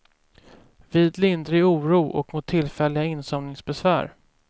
Vid lindrig oro och mot tillfälliga insomningsbesvär.